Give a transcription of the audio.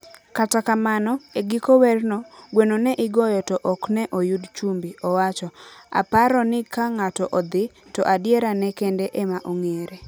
Kata kamano, e giko werno, gweno ne igoyo to ok ne oyud chumbi, owacho. "Aparo ni ka ng'ato odhi, to adierane kende ema ong'ere.